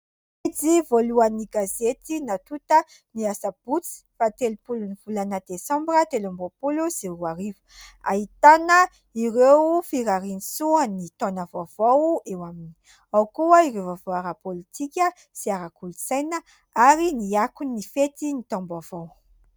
Ity voalohany gazety natonta ny asabotsy fahatelopolo ny volana desambra telo ambin'ny folo sy roa ariva. Ahitana ireo firarian-tsoa ny taona vaovao ; eo aminy ao koa ireo vaovao ara-pôlitika sy ara-kolontsaina ary ny akon'ny fety ny taom-baovao.